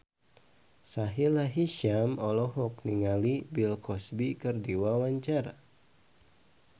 Sahila Hisyam olohok ningali Bill Cosby keur diwawancara